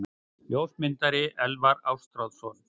Ljósmyndari: Elvar Ástráðsson.